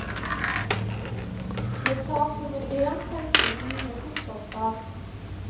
Ved tap nummer én tenkte vi mye fotballfag.